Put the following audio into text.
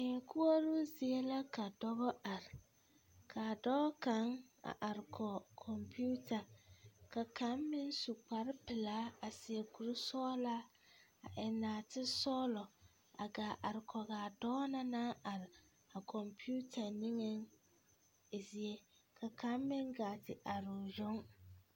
Tii koɔroo zie la ka dɔba are k,a dɔɔ kaŋ a are kɔge kɔmpeta ka kaŋ meŋ su kparepelaa a seɛ kurisɔglaa a eŋ nɔɔtesɔglɔ a gaa are kɔge a dɔɔ na naŋ are a kɔmpeta niŋeŋ zie ka kaŋ meŋ gaa te are o yoŋ.